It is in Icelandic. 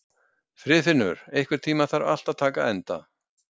Friðfinnur, einhvern tímann þarf allt að taka enda.